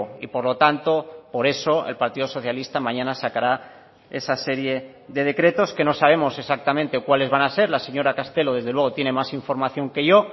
y por lo tanto por eso el partido socialista mañana sacará esa serie de decretos que no sabemos exactamente cuáles van a ser la señora castelo desde luego tiene más información que yo